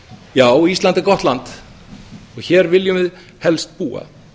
já ísland er gott land og hér viljum við helst búa